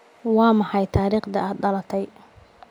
Waa maxay taariikhda aad dhalatay?